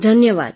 ધન્યવાદ